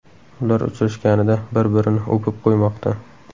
Ular uchrashganida bir-birini o‘pib qo‘ymoqda .